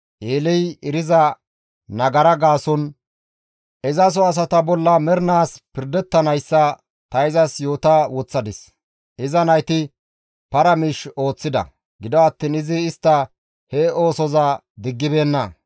Eeley eriza nagara gaason izaso asata bolla mernaas pirdettanayssa ta izas yoota woththadis; iza nayti para miish ooththida; gido attiin izi istta he oosoza diggibeenna.